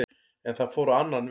En það fór á annan veg